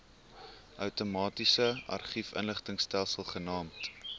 outomatiese argiefinligtingsopspoorstelsel genaamd